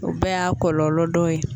O bɛɛ y'a kɔlɔlɔ dɔ ye